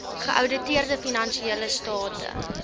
geouditeerde finansiële state